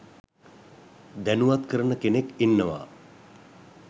දැනුවත් කරන කෙනෙක් ඉන්නවා